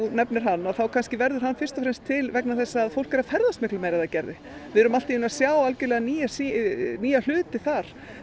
nefnir hann þá verður hann fyrst og fremst til vegna þess að fólk er að ferðast miklu meira en það gerði við erum allt í einu að sjá nýja nýja hluti þar